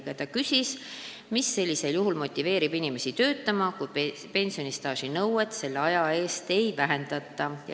Jüri Jaanson küsis, mis sellisel juhul motiveerib inimesi töötama, kui pensionistaaži nõuet selle aja eest ei vähendata.